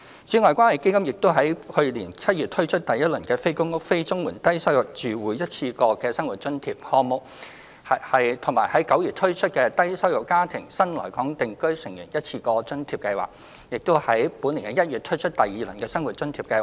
此外，關愛基金已於去年7月推出第一輪的"非公屋、非綜援的低收入住戶一次過生活津貼"項目及9月推出"低收入家庭的新來港定居成員一次過津貼"計劃，並剛於本年1月推出第二輪的生活津貼項目。